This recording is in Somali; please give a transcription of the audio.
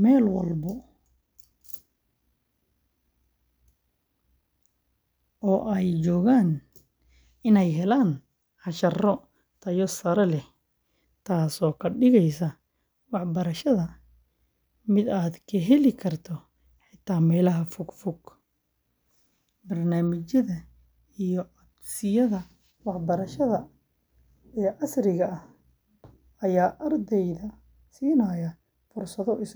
meel walba oo ay joogaan inay helaan casharro tayo sare leh, taasoo ka dhigaysa waxbarashada mid la heli karo xitaa meelaha fogfog. Barnaamijyada iyo codsiyada waxbarasho ee casriga ah waxay ardayda siinayaan fursado isdhexgal.